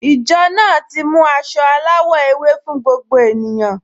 Ìjọ náà ti mú aṣọ aláwọ̀ ewé fún gbogbo ènìyàn